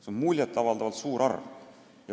See on muljet avaldavalt suur arv.